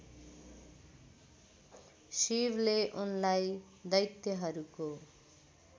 शिवले उनलाई दैत्यहरूको